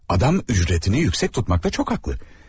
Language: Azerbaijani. Adam ücrətini yüksək tutmaqda çox haqlı.